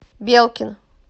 белкин